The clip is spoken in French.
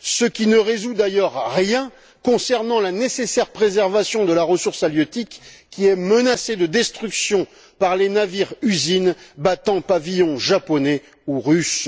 ce qui ne résout d'ailleurs rien concernant la nécessaire préservation de la ressource halieutique qui est menacée de destruction par les navires usines battant pavillon japonais ou russe.